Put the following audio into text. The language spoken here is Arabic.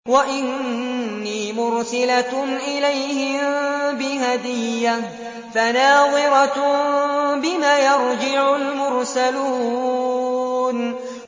وَإِنِّي مُرْسِلَةٌ إِلَيْهِم بِهَدِيَّةٍ فَنَاظِرَةٌ بِمَ يَرْجِعُ الْمُرْسَلُونَ